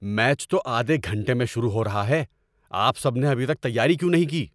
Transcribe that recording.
Match تو آدھے گھنٹے میں شروع ہو رہا ہے۔ آپ سب نے ابھی تک تیاری کیوں نہیں کی؟